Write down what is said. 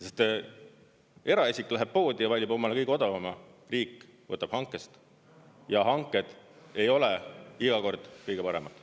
Sest eraisik läheb poodi ja valib omale kõige odavama, riik võtab hankest ja hanked ei ole iga kord kõige paremad.